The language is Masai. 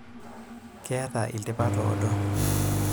Ketaa ilpapit oodo.